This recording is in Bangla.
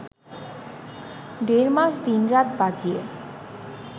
দেড় মাস দিনরাত বাজিয়ে